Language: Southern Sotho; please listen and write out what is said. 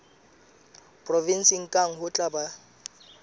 provenseng kang ho tla ba